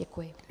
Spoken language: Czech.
Děkuji.